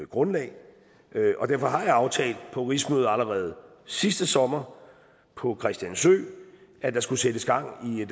grundlag og derfor har jeg aftalt på rigsmødet allerede sidste sommer på christiansø at der skulle sættes gang i